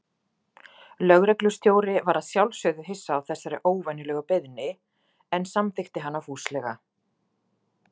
Lögreglustjóri var að sjálfsögðu hissa á þessari óvenjulegu beiðni, en samþykkti hana fúslega.